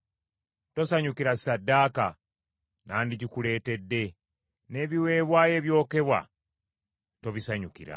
Tosanyukira ssaddaaka, nandigikuleetedde; n’ebiweebwayo ebyokebwa tobisanyukira.